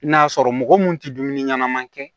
I n'a sɔrɔ mɔgɔ mun tɛ dumuni ɲɛnama kɛ